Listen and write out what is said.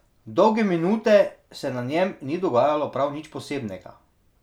Dolge minute se na njem ni dogajalo prav nič posebnega.